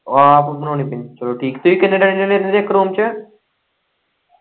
ਉਹ ਆਪ ਬਣਾਉਣੀ ਪੈਂਦੀ ਚੱਲੋ ਠੀਕ ਏ ਤੁਹੀਂ ਕਿੰਨੇ ਜਣੇ-ਜਣੇ ਰਹਿਣੇ ਇੱਕ ਰੂਮ ਚ।